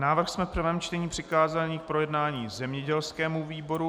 Návrh jsme ve druhém čtení přikázali k projednání zemědělskému výboru.